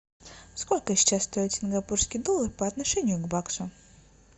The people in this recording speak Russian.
сколько сейчас стоит сингапурский доллар по отношению к баксу